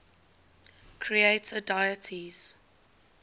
creator deities